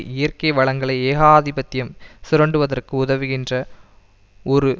இயற்கை வளங்களை ஏகாதிபத்தியம் சுரண்டுவதற்கு உதவுகின்ற ஒரு